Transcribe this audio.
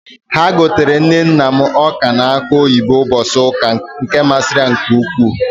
Ha gotere nne nna m ọ́ka na akụ oyibo ụbọchị ụka, nke masịrị ya nke ukwuu.